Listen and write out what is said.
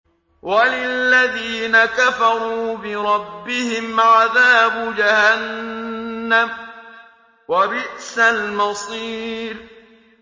وَلِلَّذِينَ كَفَرُوا بِرَبِّهِمْ عَذَابُ جَهَنَّمَ ۖ وَبِئْسَ الْمَصِيرُ